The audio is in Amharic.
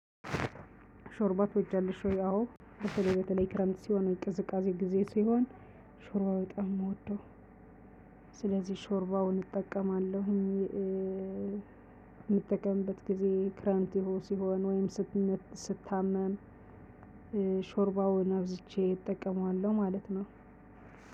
ሾርባ ትወጃለሽ ወይ? አዎ በተለይ በተለይ ክረምት ሲሆን ወይ ቅዝቃዜ ጊዜ ሲሆን ሾርባ በጣም ነው የምወደው። ስለዚህ ሾርባውን እጠቀማለሁኝ። የምጠቀምበት ጊዜ ክረምት ሲሆን ወይም ስታመም ሾርባውን አብዝቼ እጠቀመዋለሁ። ማለት ነው።